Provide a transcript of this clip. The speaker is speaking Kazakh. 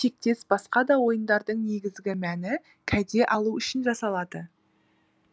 тектес басқа да ойындардың негізгі мәні кәде алу үшін жасалады